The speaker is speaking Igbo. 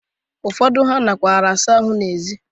Ụfọdụ ha nakwara asa ahụ n'ezi.